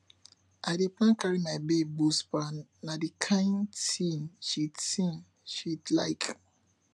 i dey plan carry my babe go spa na di kain tin she tin she like